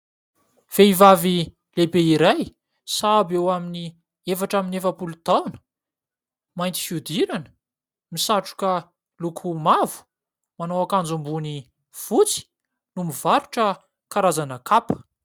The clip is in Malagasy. Vehivavy lehibe iray sahabo eo amin'ny efatra amby efapolo taona ; mainty fihodirana, misatroka miloko mavo, manao akanjo ambony fotsy no mivarotra karazana kapa.